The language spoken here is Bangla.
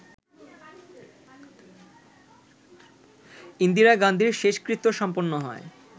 ইন্দিরা গান্ধীর শেষকৃত্য সম্পন্ন হয়